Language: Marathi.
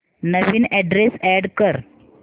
नवीन अॅड्रेस अॅड कर